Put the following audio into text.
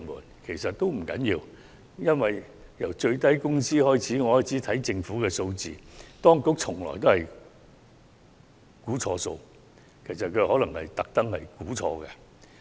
這其實也不要緊，因為由制訂最低工資開始，我從政府提供的數字發現當局總是計算錯誤，甚至可能是故意如此。